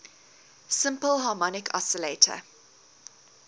simple harmonic oscillator